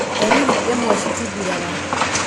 Ndariri imwe citithiraga.